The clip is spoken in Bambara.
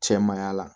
Cɛ maaya la